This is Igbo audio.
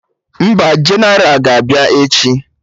Mba? Jeneral ga-abịa echi